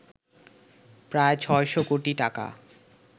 প্রায় ৬শ কোটি টাকা